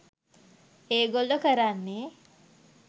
එගොල්ලො කරන්නේ